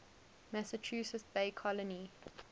massachusetts bay colony